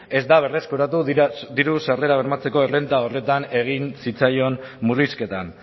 ez da berreskuratu diru sarrerak bermatzeko errenta horretan egin zitzaion murrizketan